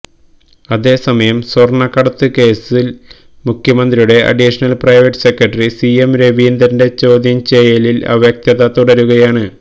അതേസമയം സ്വര്ണക്കടത്ത് കേസില് മുഖ്യമന്ത്രിയുടെ additional private secretary C M രവീന്ദ്രന്റെ ചോദ്യം ചെയ്യലില് അവ്യക്തത തുടരുകയാണ്